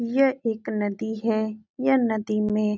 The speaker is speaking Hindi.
यह एक नदी है। यह नदी में --